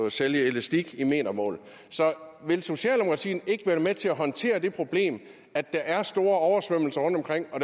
at sælge elastik i metermål så vil socialdemokratiet ikke være med til at håndtere det problem at der er store oversvømmelser rundtomkring og